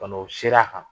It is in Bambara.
Bana o sera a kan